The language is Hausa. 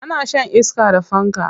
Ana shan iska da fanka.